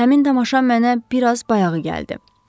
Həmin tamaşa mənə biraz bayağı gəldi.